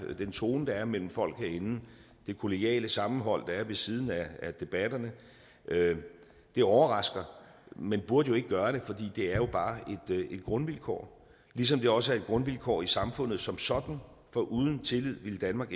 og den tone der er mellem folk herinde det kollegiale sammenhold ved siden af debatterne det overrasker men burde jo ikke gøre det for det er jo bare et grundvilkår ligesom det også er et grundvilkår i samfundet som sådan for uden tillid ville danmark